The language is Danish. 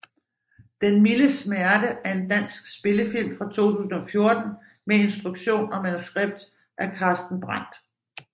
Den milde smerte er en dansk spillefilm fra 2014 med instruktion og manuskript af Carsten Brandt